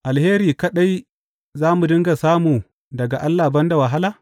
Alheri kaɗai za mu dinga samu daga Allah ban da wahala?